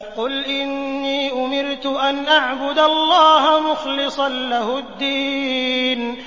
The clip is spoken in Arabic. قُلْ إِنِّي أُمِرْتُ أَنْ أَعْبُدَ اللَّهَ مُخْلِصًا لَّهُ الدِّينَ